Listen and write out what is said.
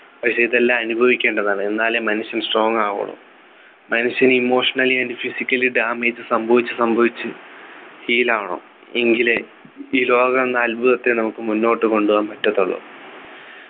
പക്ഷേ ഇതെല്ലാം അനുഭവിക്കേണ്ടതാണ് എന്നാലേ മനുഷ്യൻ strong ആവുള്ളൂ മനുഷ്യർ Emotionally and physically damage സംഭവിച്ചു സംഭവിച്ച് ശീലമാകണം എങ്കിലെ ഈ ലോകം എന്ന അത്ഭുതത്തെ നമുക്ക് മുന്നോട്ടുകൊണ്ടുപോകാൻ പറ്റത്തുള്ളു